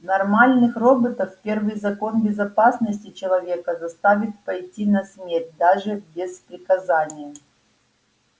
нормальных роботов первый закон безопасности человека заставит пойти на смерть даже без приказания